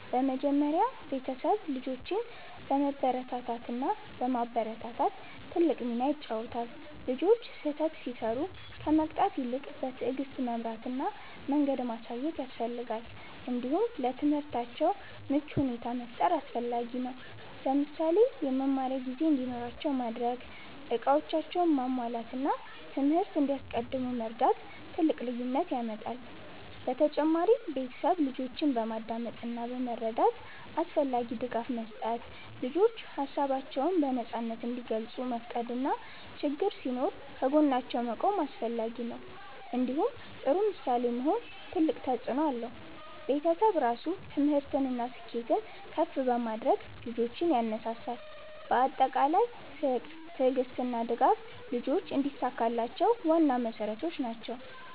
በመጀመሪያ ቤተሰብ ልጆችን በመበረታታት እና በማበረታታት ትልቅ ሚና ይጫወታል። ልጆች ስህተት ሲሰሩ ከመቅጣት ይልቅ በትዕግስት መምራት እና መንገድ ማሳየት ያስፈልጋል። እንዲሁም ለትምህርታቸው ምቹ ሁኔታ መፍጠር አስፈላጊ ነው። ለምሳሌ የመማሪያ ጊዜ እንዲኖራቸው ማድረግ፣ እቃዎቻቸውን ማሟላት እና ትምህርት እንዲያስቀድሙ መርዳት ትልቅ ልዩነት ያመጣል። በተጨማሪም ቤተሰብ ልጆችን በማዳመጥ እና በመረዳት አስፈላጊ ድጋፍ መስጠት። ልጆች ሀሳባቸውን በነፃ እንዲገልጹ መፍቀድ እና ችግኝ ሲኖር ከጎናቸው መቆም አስፈላጊ ነው። እንዲሁም ጥሩ ምሳሌ መሆን ትልቅ ተፅእኖ አለው። ቤተሰብ ራሱ ትምህርትን እና ስኬትን ከፍ በማድረግ ልጆችን ያነሳሳል። በአጠቃላይ ፍቅር፣ ትዕግስት እና ድጋፍ ልጆች እንዲሳካላቸው ዋና መሠረቶች ናቸው።